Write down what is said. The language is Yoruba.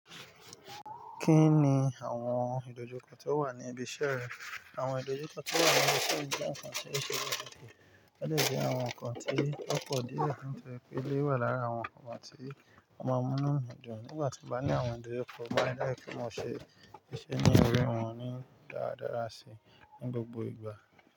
Kí ni àwọn ìdojúkọ tó wà ní ibi iṣẹ́ rẹ? Àwọn ìdojúkọ tó wà ní ibi iṣẹ́ jẹ́ ǹkan tí ó ṣe pàtàkì. Ó dẹ̀ jẹ́ àwọn ǹkan tí ó pọ̀ díẹ̀ n tó jẹ́ wípé eléyìí wà lára àwọn ǹkan tí ó máa ń múnú mi dùn. Nígbà tí n bá ní àwọn ìdojúkọ, mo máa ń rí dájú pé mo ṣe íṣe ní orí wọn ní dáradára sií ní gbogbo ìgbà.